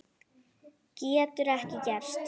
Getur ekki gerst.